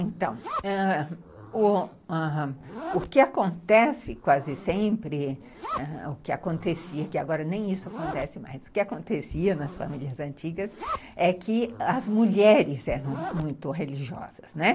Então, ãh, o que acontece quase sempre, o que acontecia, que agora nem isso acontece mais, o que acontecia nas famílias antigas é que as mulheres eram muito religiosas, né.